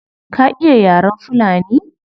Ka iya yaren fulani?